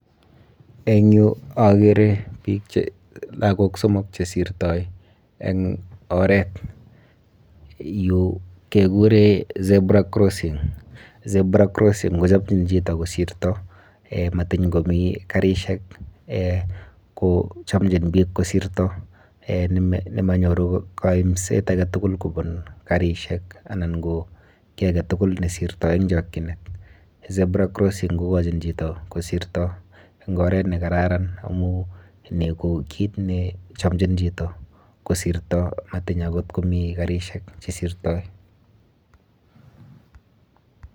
Eng yu akere biik che.. lagok somok chesirtoi eng oret. Yu kekure zebra crossing. Zebra crossing kochomchin chito kosirto matiny komi karishek eh kochomchon biik kosirto eh nemonyoru koimset aketugul kobun karishek anan ki kiy aketugul nesirtoi eng chokchinet. Zebra crossing kokochin chito kosirto eng oret nekararan amu ni ko kit nechomchin chito kosirto matiny akot komi karishek chesirtoi.